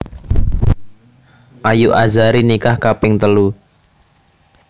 Ayu Azhari nikah kaping telu